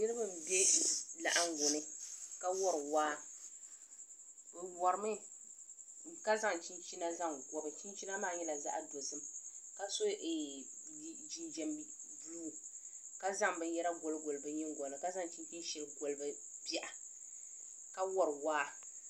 Niriba m-be laɣiŋgu ni ka wari waa bɛ warimi ka zaŋ chinchina zaŋ gobi chinchina maa nyɛla zaɣidozim ka so jinjam buluu ka zaŋ binyara goligoli bɛ nyingoya ni ka zaŋ chinchini shɛli gobi bɛ biha ka wari waa